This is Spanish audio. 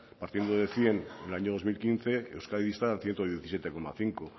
partiendo de cien en el año dos mil quince euskadi está al ciento diecisiete coma cinco